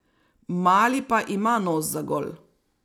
Mali pa ima nos za gol.